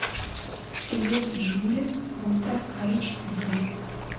привет джули ультра эйч ди